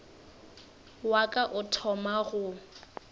wa ka o thoma go